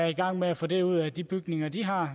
i gang med at få det ud af de bygninger de har